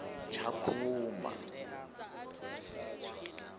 tshakhuma